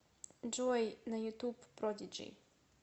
джой на ютуб продиджи